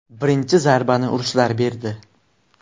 Birinchi zarbani ruslar berdi.